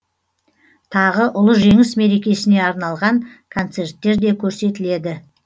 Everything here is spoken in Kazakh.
тағы ұлы жеңіс мерекесіне арналған концерттер де көрсетіледі